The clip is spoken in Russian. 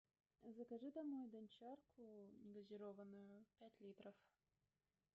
закажи домой дончарку негазированную пять литров